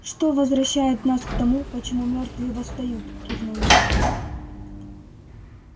что возвращает нас к тому почему мёртвые восстают кивнул я